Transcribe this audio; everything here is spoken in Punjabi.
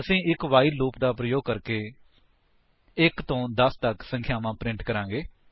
ਅਸੀ ਇੱਕ ਵਾਈਲ ਲੂਪ ਦਾ ਪ੍ਰਯੋਗ ਕਰਕੇ 1 ਤੋਂ 10 ਤੱਕ ਸੰਖਿਆਵਾਂ ਪ੍ਰਿੰਟ ਕਰਾਂਗੇ